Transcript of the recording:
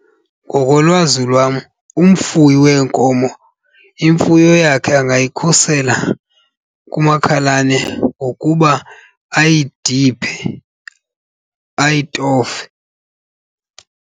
Ngokolwazi lwam umfuyi weenkomo imfuyo yakhe angayikhusela kumakhalane ngokuba ayidiphe, ayitofe.